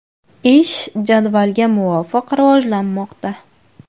Ish jadvalga muvofiq rivojlanmoqda.